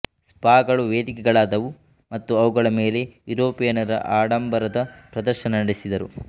ಸ್ಪಾಗಳು ವೇದಿಕೆಗಳಾದವು ಮತ್ತು ಅವುಗಳ ಮೇಲೆ ಯೂರೋಪಿಯನ್ನರು ಆಡಂಬರದ ಪ್ರದರ್ಶನ ನಡೆಸಿದರು